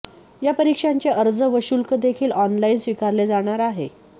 या परीक्षांचे अर्ज व शुल्कदेखील ऑनलाइन स्वीकारले जाणार आहे